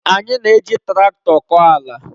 Anyị na-eji traktọ kọọ ala.